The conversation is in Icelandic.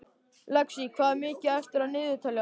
Lexí, hvað er mikið eftir af niðurteljaranum?